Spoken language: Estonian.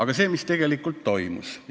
Mis aga tegelikult toimus?